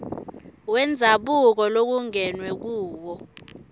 wendzabuko lokungenwe kuwo